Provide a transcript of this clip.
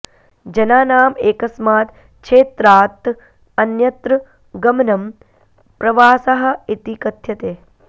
जनानाम् एकस्मात् क्षेत्रात् अन्यत्र गमनं प्रवासः इति कथ्यते